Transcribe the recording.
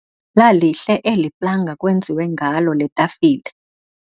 Lalihle eli planga kwenziwe ngalo le tafile.